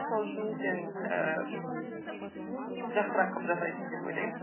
сол үшін сен ііі жақсырақ жасайсың деп ойлаймын